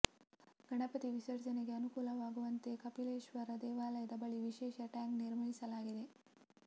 ಗಣಪತಿ ವಿಸರ್ಜನೆಗೆ ಅನುಕೂಲವಾಗುವಂತೆ ಕಪಿಲೇಶ್ವರ ದೇವಾಲಯದ ಬಳಿ ವಿಶೇಷ ಟ್ಯಾಂಕ್ ನಿರ್ಮಿಸಲಾಗಿದೆ